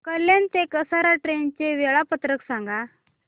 कल्याण ते कसारा ट्रेन चे वेळापत्रक सांगा